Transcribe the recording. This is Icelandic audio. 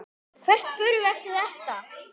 Hvert förum við eftir þetta?